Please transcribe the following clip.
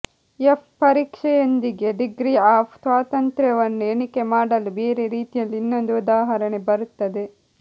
F ಪರೀಕ್ಷೆಯೊಂದಿಗೆ degree of ಸ್ವಾತಂತ್ರ್ಯವನ್ನು ಎಣಿಕೆ ಮಾಡಲು ಬೇರೆ ರೀತಿಯಲ್ಲಿ ಇನ್ನೊಂದು ಉದಾಹರಣೆ ಬರುತ್ತದೆ